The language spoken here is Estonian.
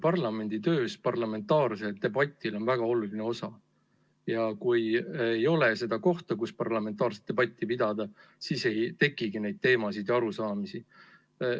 Parlamendi töös on parlamentaarsel debatil väga oluline osa ja kui ei ole seda kohta, kus parlamentaarset debatti pidada, siis ei tekigi neid teemasid ja arusaamisi.